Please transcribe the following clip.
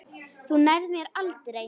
Þú nærð mér aldrei.